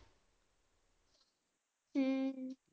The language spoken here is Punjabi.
ਹਮ